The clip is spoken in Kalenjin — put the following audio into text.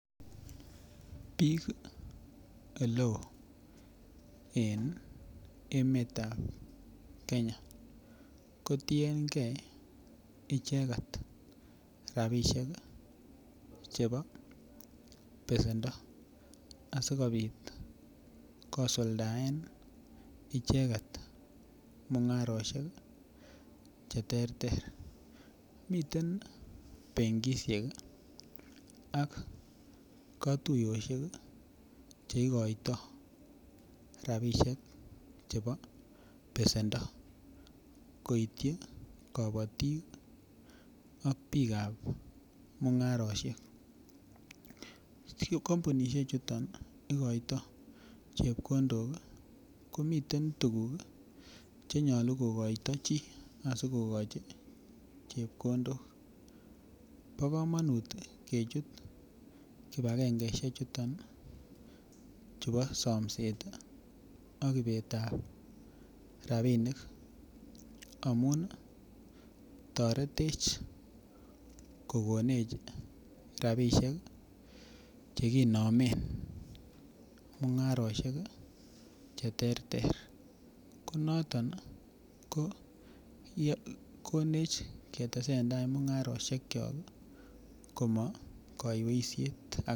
Biik eleoo en emetab Kenya ko tiengei icheket rapisiek chebo besendo asikobit kosuldaen icheket mung'arosiek cheterter miten benkisiek ak kotuiyosiek cheikoitoo chebo besendo koityi kobotik ak biikab mung'arosiek kampunisiek chuton ikoitoo chepkondok komiten tuguk chenyolu kokoito chii asikokochi chepkondok bo komonut kechut kibagangeisiek chuton chubo somset ih ak ibet ab rapinik amun toretech kokonech rapisiek chekinomen mung'arosiek cheterter ko noton ko konech ketesentai mung'arosiek kyok ih komokoiweisiet